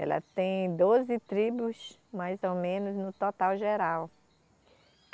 Ela tem doze tribos, mais ou menos, no total geral.